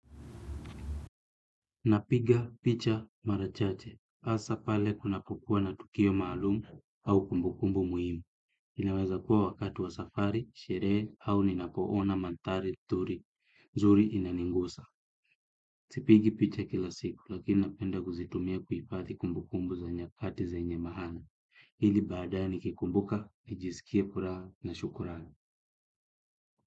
Napiga, picha, marachache. Asa pale kuna kukua na tukio maalumu au kumbukumbu muhimu. Inaweza kuwa wakati wa safari, sherehe au ninapoona mantari, turi. Zuri inaningusa. Sipigi picha kila siku lakini napenda kuzitumia kuipathi kumbukumbu za nyakati zenye mahana. Hili badae kikumbuka, nijisikie pura na shukurani.